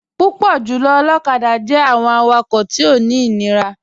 Púpọ̀ jùlọ̀ olokada jẹ̀ àwọn àwàkọ̀ tí ó ní inírà.